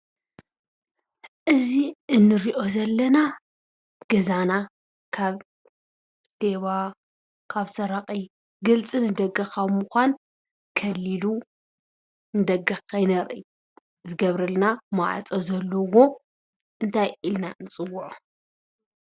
እዚ እንሪኦ ዘለና ገዛና ካብ ሌባ ካብ ሰራቂ ግልፂ ንደገ ካብ ምኳን ከሊሉ ንደገ ከይነርኢ ዝገብረልና ማዕፆ ዘለዎ እንታይ ኢልና ንፅዎዖ?